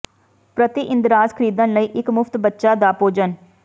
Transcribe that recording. ਪ੍ਰਤੀ ਇੰਦਰਾਜ਼ ਖਰੀਦਣ ਲਈ ਇੱਕ ਮੁਫਤ ਬੱਚਾ ਦਾ ਭੋਜਨ